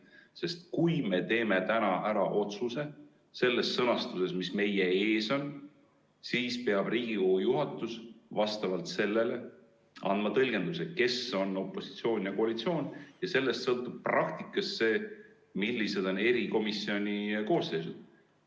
Sest kui me teeme täna ära otsuse selles sõnastuses, mis meie ees on, siis peab Riigikogu juhatus vastavalt sellele andma tõlgenduse, kes on opositsioon ja koalitsioon, ja sellest sõltub praktikas see, millised on erikomisjoni koosseisud.